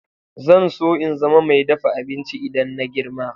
Zan so in zama mai dafa abinci idan na girma.